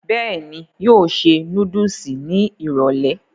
bẹ́ẹ̀ni, yóò ṣe núdùsì ní ìrọ̀lẹ̀